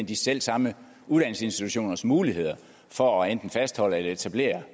de selv samme uddannelsesinstitutioners muligheder for at fastholde eller etablere